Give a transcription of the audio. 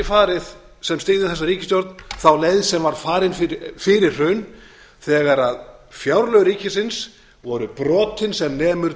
styðjum þessa ríkisstjórn höfum ekki farið þá leið sem var farin fyrir hrun þegar fjárlög ríkisins voru brotin sem nemur